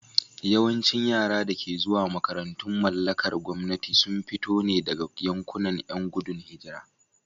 Yawancin yaran da ke zuwa makarantun mallakar gwamnati sun fito ne daga yankunan ƴan gudun hijira.